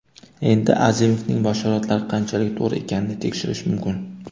Endi Azimovning bashoratlari qanchalik to‘g‘ri ekanini tekshirish mumkin.